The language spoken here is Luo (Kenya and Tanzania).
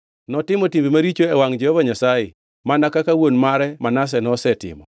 Notimo timbe maricho e wangʼ Jehova Nyasaye, mana kaka wuon mare Manase nosetimo.